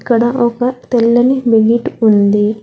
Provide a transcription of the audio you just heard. ఇక్కడ ఒక తెల్లని బెకిట్ ఉంది.